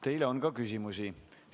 Teile on ka küsimusi.